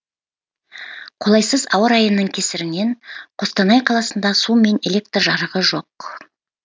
қолайсыз ауа райының кесірінен қостанай қаласында су мен электр жарығы жоқ